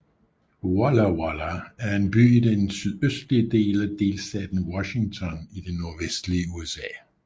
Walla Walla er en by i den sydøstlige del af delstaten Washington i det nordvestlige USA